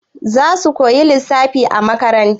Za su koya lissafi a makaranta?